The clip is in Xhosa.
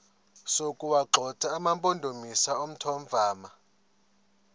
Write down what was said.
sokuwagxotha amampondomise omthonvama